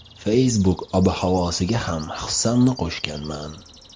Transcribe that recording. Facebook ob-havosiga ham hissamni qo‘shganman.